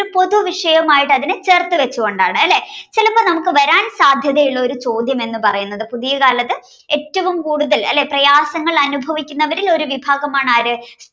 പൊതു വിഷയവുമായിട്ട് അതിനെ ചേർത്തുവച്ചുകൊണ്ടാണ് അല്ലേ. ചിലപ്പോൾ നമുക്ക് വരാൻ സാധ്യതയുള്ള പുതിയ ചോദ്യമെന്ന് പറയുന്നത് പുതിയ കാലത്ത് ഏറ്റവും കൂടുതൽ അല്ലേ പ്രയാസങ്ങൾ അനുഭവിക്കുന്നവരിൽ ഒരു വിഭാഗമാണ് ആര്